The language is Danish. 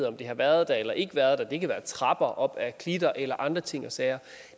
om det har været der eller ikke været der det kan være trapper op ad klitter eller andre ting og sager